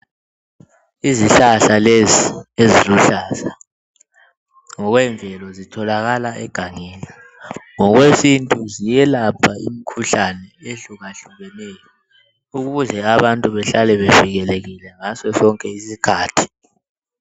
Izihlahla lezi eziluhlaza, ngokwemvelo zitholakala egangeni ngokwesintu ziyelapha imikhuhlane ehlukahlukaneyo, ukuze abantu behlale bevikelekile ngaso sonke isikhathi.